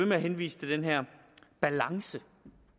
med at henvise til den her balance